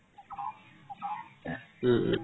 ও উম